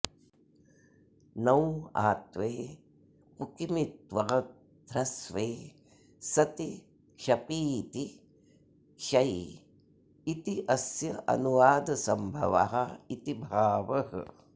णौ आत्वे पुकि मित्त्वाद्ध्रस्वे सति क्षपीति क्षै इत्यस्यानुवादसंभव इति भावः